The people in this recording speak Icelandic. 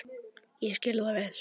Ég skil það vel.